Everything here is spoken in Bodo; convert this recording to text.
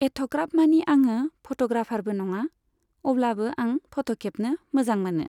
एथ'ग्राब मानि आङो फट'ग्राफारबो नङा, अब्लाबो आं फट' खेबनो मोजां मोनो।